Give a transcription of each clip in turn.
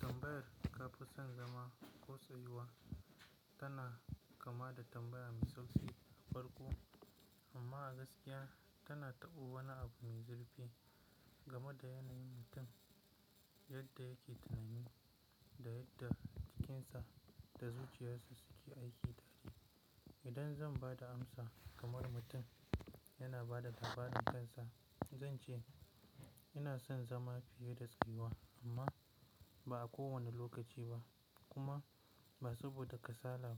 Tambayar ka fi son zama ko tsayuwa tana kama da tambaya mai sauƙi a farko. Amma a gaskiya tana taɓa wani abu mai zurfi game da yanayin mutum yadda yake tunani da yadda jikinsa da zuciyarsa suke aiki tare. Idan zan ba da amsa kamar mutum yana ba da labarin kansa, zan ce ina son zama fiye da tsayuwa. Amma ba a kowane lokaci ba kuma ba saboda kasala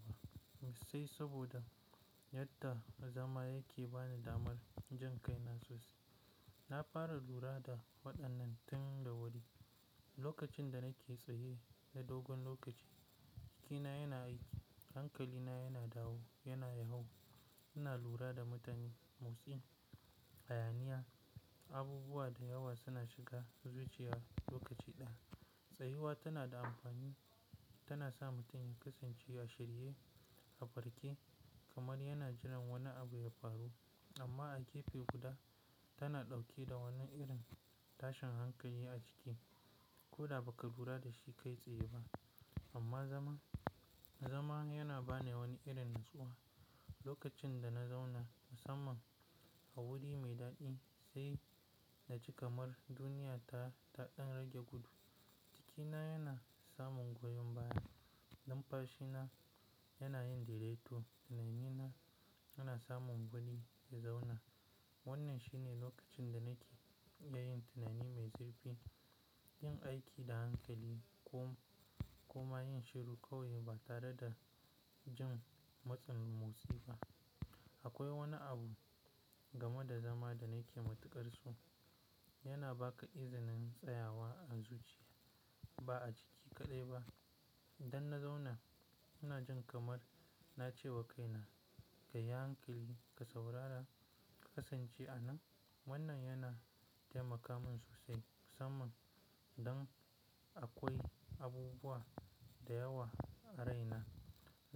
ba, sai saboda yadda zama yake ba ni damar jin kai na sosai. Na fara lura da waɗannan tun da wuri, lokacin da nake tsaye na dogon lokaci jikina yana aiki, hankalina yana dawo, yana yawo. Ina lura da mutane, motsi, hayaniya, abubuwa da yawa suna shiga zuciya lokaci ɗaya. Tsayuwa tana da amfani, tana sa mutum ya kasance ya shirye a farke kamar yana jiran wani abu ya faru. Amma a gefe guda tana ɗauke da wannan irin tashin hankali a ciki. Ko da ba ka lura da shi kai tsaye ba. Amma zama, zama yana ba ni wani irin natsuwa. Lokacin da na zauna musamman a wuri mai daɗi, sai na ji kamar duniya ta, ta ɗan rage gudu. Jikina yana samun goyon baya, numfashina yana yin direto, tunanina yana samun wuri ya zauna. Wannan shine lokacin da nake yin tunani mai zurfi, yin aiki da hankali kom, kuma yin shiru kawai ba tare da jin matsin motsi ba. Akwai wani abu game da zama da nake matuƙar so. Yana ba ka izinin tsayawa a zuciya ba a jiki kaɗai ba. Idan na zauna ina jin kamar na ce wa kaina ka yi hankali, ka saurara, ka kasance a nan. Wannan yana taimaka min sosai musamman idan akwai abubuwa da yawa a raina.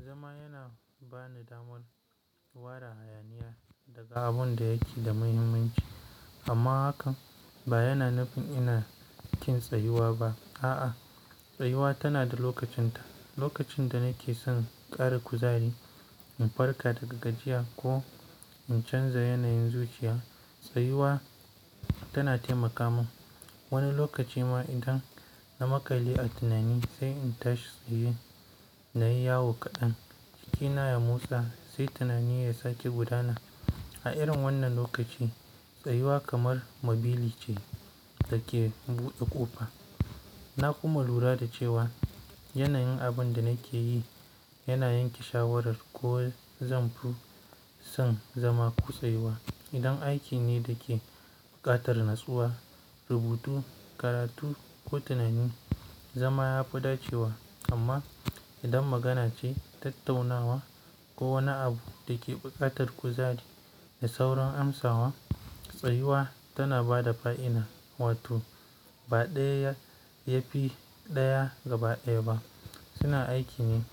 Zama yana ba ni damar wara hayaniya daga abun da yake da muhimmanci. Amma hakan ba yana nufin ina kin tsayuwa ba. A'a, tsayuwa tana da lokacinta. Lokacin da nake son ƙara kuzari in farka daga gajiya ko in canza yanayin zuciya, tsayuwa tana taimaka min. Wani lokaci ma idan na makale a tunani sai in tashi tsaye na yi yawo kaɗan, jikina ya musa sai tunani ya sake gudana. A irin wannan lokaci tsayuwa kamar mabili ce da ke buɗe ƙofa. Na kuma lura da cewa yanayin abin da nake yi yana yanke shawarar ko zan fi son zama ko tsayuwa. Idan aiki ne da ke buƙatar natsuwa, rubutu, karatu ko tunani, zama ya fi dacewa. Amma idan magana ce, tattaunawa ko wani abu da ke buƙatar kuzari da saurin amsawa, tsayuwa tana ba da fa'ina. Wato ba ɗaya yafi ɗaya gabaɗaya ba. Suna aiki ne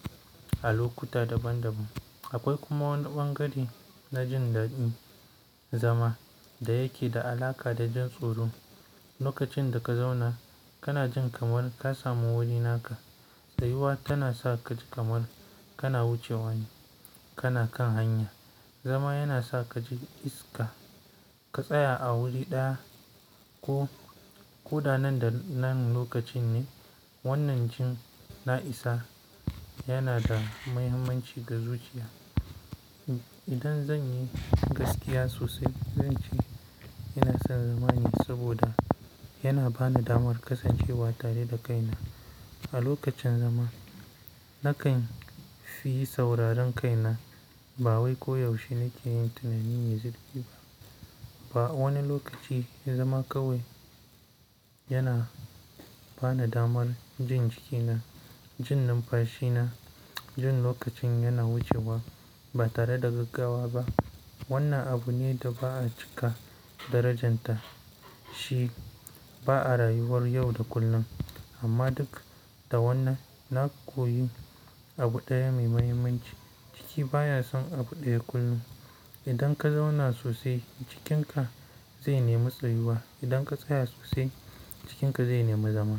a lokuta daban daban. Akwai kuma wani ɓangare na jin daɗin zama da yake da alaƙa da jin tsoro. Lokacin da ka zauna kana jin kamar ka samu wurina ka. Tsayuwa tana sa ka ji kamar kana wucewa ne, kana kan hanya. Zama yana sa ka ji iska ka tsaya a wuri ɗaya ko, ko da nan da nan lokacin ne. Wannan jin na'isa yana da muhimmanci ga zuciya. Idan zan yi gaskiya sosai zan ce ina son zama ne saboda yana ba ni damar kasancewa tare da kaina. A lokacin zama nakan fi sauraron kaina. Ba wai koyaushe nake yin tunani mai zurfi ba. Ba wani lokaci zama kawai yana ba ni damar jin jikina, jin numfashina, jin lokacin yana wucewa ba tare da gaggawa ba. Wannan abu ne da ba'a cika darajanta shi, ba'a rayuwar yau da kullum. Amma duk da wannan, na koyi abu ɗaya mai muhimmanci, jiki baya son abu ɗaya kullum. Idan ka zauna sosai jikinka zai nemi tsayuwa. Idan ka tsaya sosai jikinka zai nemi zama.